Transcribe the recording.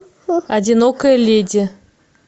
одинокая леди